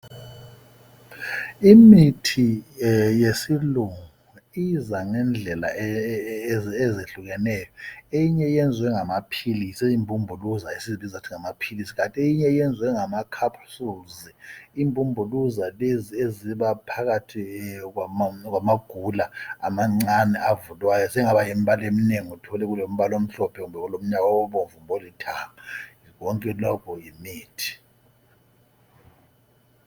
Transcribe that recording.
Imithi yesilungu iza ngezindlela ezehlukeneyo. Eyinye yenzwe ngamaphilisi imbumbuluza esibizwa ukuthi ngamaphilisi, eyinye yenzwe ngamacapsules. Imbumbuluza lezi ezibaphakathi kwamagula amancane avulwayo, zingaba yimbala eminengi uthole kulombala omhlophe kumbe olithanga konke lokhu yimithi.